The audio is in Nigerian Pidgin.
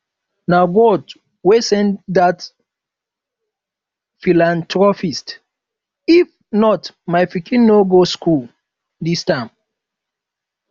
na god wey send dat philanthropist if not my pikin no for go school dis term